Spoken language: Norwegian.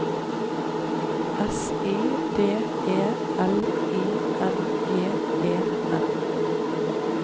S I D E L I N J E N